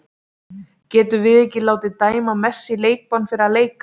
Getum við látið dæma Messi í leikbann fyrir að leika?